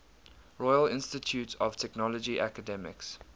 royal institute of technology academics